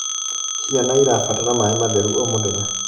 Ciana irabatara maĩ matheru o mũthenya